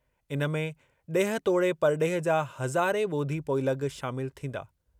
इन में ॾेह तोड़े परॾेह जा हज़ारें ॿोधी पोइलॻ शामिल थींदा।